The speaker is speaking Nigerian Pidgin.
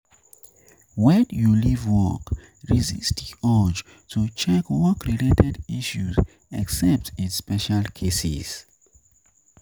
when you leave work, resist di urge to check work related issues except in special cases